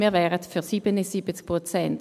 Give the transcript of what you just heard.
Wir wären für 77 Prozent.